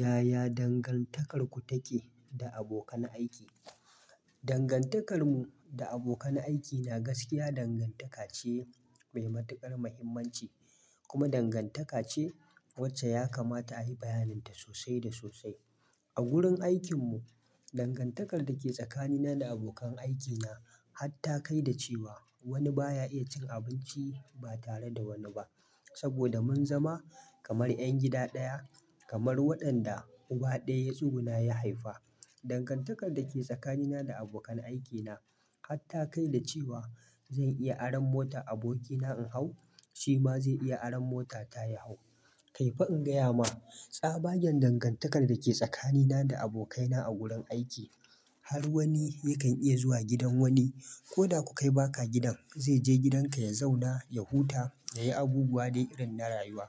Yaya dangantakarku take da abokan aiki? Dangantakarmu da abokan aikina gaskiya dangantaka ce mai matukar muhimmanci, kuma dangantaka ce wacce ya kamata a yi bayanin ta sosai da sosai. A gurin aikin mu dangantakar da ke tsakanina da abokan aikina har ta kai da cewa wani baya iya cin abinci ba tare da wani ba. Saboda mun zama kamar 'yan gida ɗaya, kamar waɗanda uba ɗaya yatsugu na ya haifa. Dangantakar da ke tsakanina da abokan aikina har ta kai da cewa zan iya aron mota abokina in hau, shi ma zai iya aron mota ta ya hau. Kaifi in gaya ma, tsabaggen dangantakar da ke tsakanina da abokaina a gurin aiki, har wani yakan iya zuwa gidan wani. Ko da ku kai baka gidan, zai je gidan ka ya zauna, ya huta, ya yi abubuwa dai irin na rayuwa.